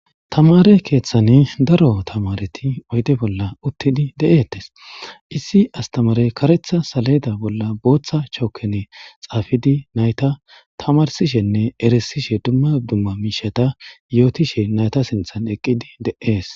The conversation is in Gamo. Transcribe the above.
tamare keeththan daro tamareti oyde bolla uttidi de'etes issi astamarey karetha saleeda bolla booththa chookene xaafidi nayta tamarsishenne erisishe dumma dumma miishata yootishe nayta sinthan eqqidi de'ees